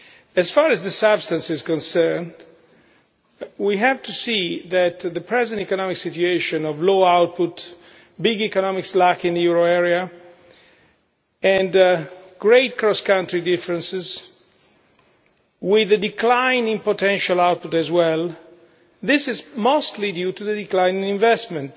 As far as the substance is concerned, we have to see that the present economic situation of low output, big economic slack in the euro area and great cross country differences, with a decline in potential output as well, is mostly due to declining investment